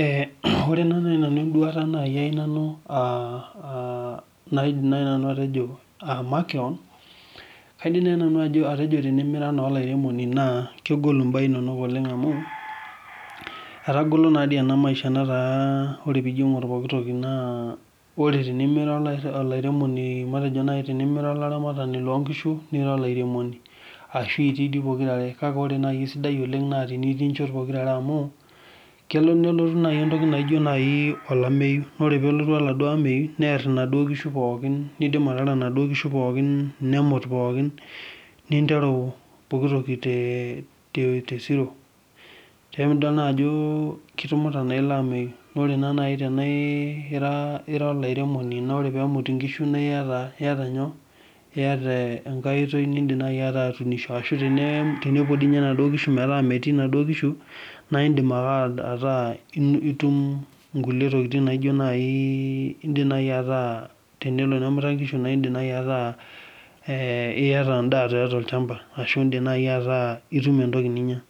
Ee ore naa nai nanu enduata nai ai nanu aa naidim nai nanu atejo aa makeon, kaidim nai nanu atejo tenimira naa olairemoni naa kegolu mbaa inonok oleng' amu etagolo naa dii ena maisha nataa orepiijo ing'or poki toki ore tenimira olairemoni matejo nai tenimira olaramatani loo nkishunira olairemoni ashu itii dii pokira are, kake ore nai esidai oleng' naa tenitii inchot pokira are amu kelo nelotu entoki naijo nai olameyu naa ore pee elotu oladuo ameyu neer inaduo kishu pookin, niidim ataara inaduo kishu pookin, nemut pookin ninteru pookin toki te te te zero. Emidol naa ajo kitumuta naa ilo ameyu naa ore nai tenaa ira ira olairemoni naa ore peemut inkishu nae iyata iyata nyoo iyata enkai oitoi niindim nai ataa atuunisho ashu tene tenepuo dii nye induo kishu metaa metii inaduo kishu naa iindim ake ataa itum inkulie tokitin naijo nai iindim nai ataa tenelo nemuta inkishu naa iindim nai ataa ee iyata endaa tiatua tolchamba ashu iindim nai ataa itum entoki ninya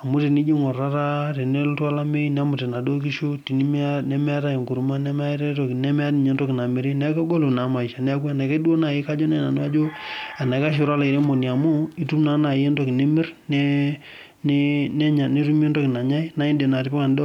amu tenijo iing'or taata teneeltu olameyu nemut inaduo kishu tenimiya nemeetai enkurma nemeetai toki nemetai ninye entoki namiri, neeku egolu naa maisha. Neeku enaikash duo nai kajo nai nanu ajo enaikash enira olairemoni amu itum naa nai entoki nimir ne ne nenya netumi entoki nanyai naa iindim atipika endaa oo..